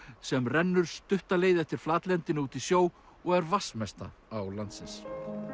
sem rennur stutta leið eftir flatlendinu út í sjó og er vatnsmesta á landsins